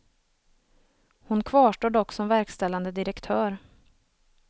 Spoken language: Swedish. Hon kvarstår dock som verkställande direktör.